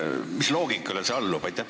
Mis loogikale see allub?